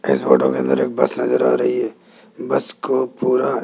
इस फोटो मे अंदर एक बस नजर आ रही है बस को पूरा--